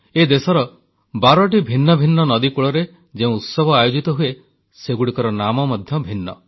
ଏ ଦେଶର ବାରଟି ଭିନ୍ନ ଭିନ୍ନ ନଦୀକୂଳରେ ଯେଉଁ ଉତ୍ସବ ଆୟୋଜିତ ହୁଏ ସେଗୁଡ଼ିକ ନାମ ମଧ୍ୟ ଭିନ୍ନ